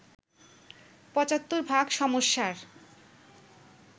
৭৫ ভাগ সমস্যার